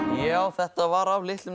já þetta var af litlum